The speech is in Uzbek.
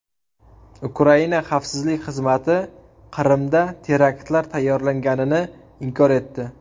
Ukraina xavfsizlik xizmati Qrimda teraktlar tayyorlanganini inkor etdi.